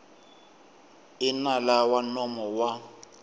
i nala wa nomo wa